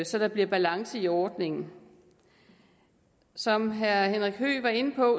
så der bliver balance i ordningen som herre henrik høegh var inde på